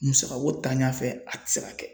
Musakako tanɲa fɛ a tɛ se ka kɛ.